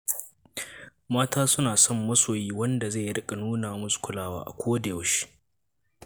Mata suna son masoyi wanda zai riƙa nuna musu kulawa a kodayaushe.